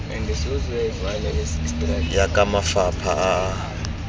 ya ka mafapha a a